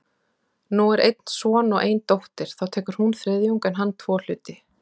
Nú er einn son og ein dóttir, þá tekur hún þriðjung en hann tvo hluti.